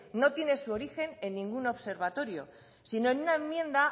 no tiene su origen en ningún observatorio sino en una enmienda